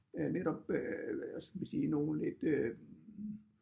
Øh netop øh hvad skal vi sige nogle lidt øh